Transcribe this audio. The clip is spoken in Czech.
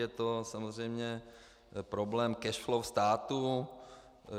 Je to samozřejmě problém cash flow státu.